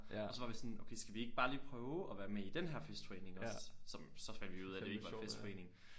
Og så var vi sådan okay skal vi ikke bare lige prøve at være med i den her festforening også som så fandt vi ud af det ikke var en festforening